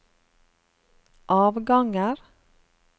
avganger